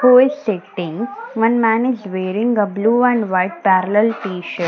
two is sitting one man is wearing a blue and white parallel t-shirt.